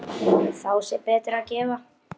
Þá sé betra að gefa.